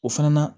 O fana na